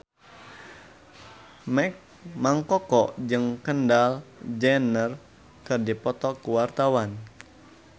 Mang Koko jeung Kendall Jenner keur dipoto ku wartawan